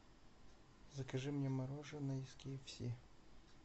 закажи мне мороженое из кфс